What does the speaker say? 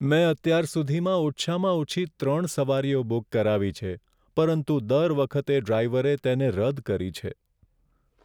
મેં અત્યાર સુધીમાં ઓછામાં ઓછી ત્રણ સવારીઓ બુક કરાવી છે, પરંતુ દર વખતે ડ્રાઈવરે તેને રદ કરી છે.